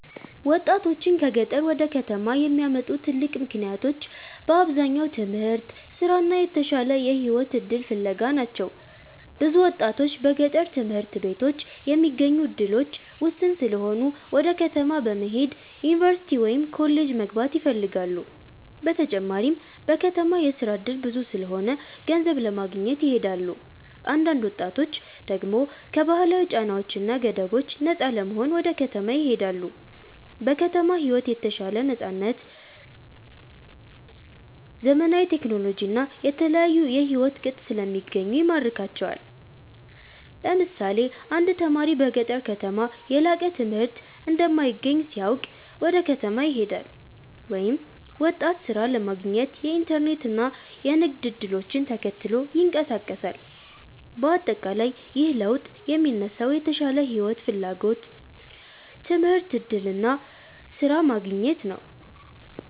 1ወጣቶችን ከገጠር ወደ ከተማ የሚያመጡ ትልቅ ምክንያቶች በአብዛኛው ትምህርት፣ ስራ እና የተሻለ የህይወት እድል ፍለጋ ናቸው። ብዙ ወጣቶች በገጠር ትምህርት ቤቶች የሚገኙ እድሎች ውስን ስለሆኑ ወደ ከተማ በመሄድ ዩኒቨርሲቲ ወይም ኮሌጅ መግባት ይፈልጋሉ። በተጨማሪም በከተማ የስራ እድል ብዙ ስለሆነ ገንዘብ ለማግኘት ይሄዳሉ። አንዳንድ ወጣቶች ደግሞ ከባህላዊ ጫናዎች እና ገደቦች ነፃ ለመሆን ወደ ከተማ ይሄዳሉ። በከተማ ሕይወት የተሻለ ነፃነት፣ ዘመናዊ ቴክኖሎጂ እና የተለያዩ የሕይወት ቅጥ ስለሚገኙ ይማርካቸዋል። ለምሳሌ አንድ ተማሪ በገጠር ከተማ የላቀ ትምህርት እንደማይገኝ ሲያውቅ ወደ ከተማ ይሄዳል፤ ወይም ወጣት ሥራ ለማግኘት የኢንተርኔት እና የንግድ እድሎችን ተከትሎ ይንቀሳቀሳል። በአጠቃላይ ይህ ለውጥ የሚነሳው የተሻለ ሕይወት ፍላጎት፣ ትምህርት እድል እና ስራ ማግኘት ነው።